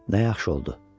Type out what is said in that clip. “Nə yaxşı oldu.